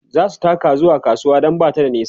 zasu taka zuwa kasuwar Dan Bata da nisa